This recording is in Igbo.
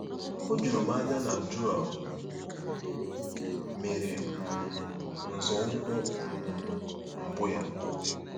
O juru m anya na Joel mere um nzọụkwụ um mbụ ya!